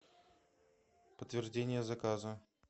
подтверждение заказа